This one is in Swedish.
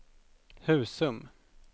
Husum